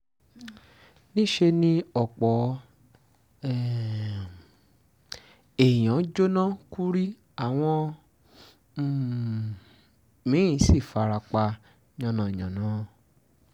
níṣẹ́ ni ọ̀pọ̀ um èèyànm jóná kú rí àwọn um mi-ín sì fara pa yánnayànna